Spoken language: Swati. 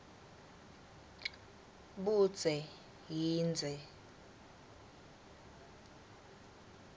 budze yindze